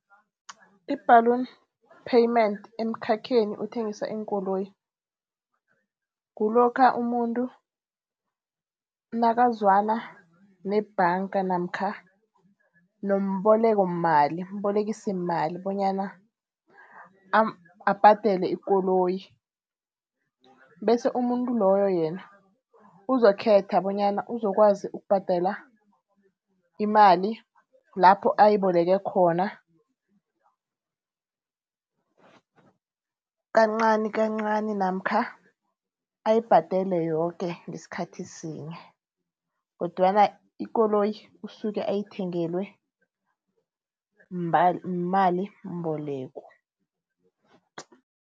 I-balloon payment emkhakheni othengisa iinkoloyi, kulokha umuntu nakazwana nebhanga namkha nombolekomali umbolekisimali bonyana abhadele ikoloyi. Bese umuntu loyo yena uzokukhetha bonyana uzokwazi ukubhadela imali lapho ayiboleke khona kancani kancani namkha ayibhadele yoke ngesikhathi sinye kodwana ikoloyi usuke uyithengelwe yimalimboleko.